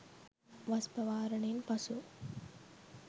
වස් පවාරණයෙන් පසු